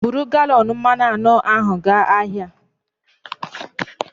Buru galọn mmanụ anọ ahụ gaa ahịa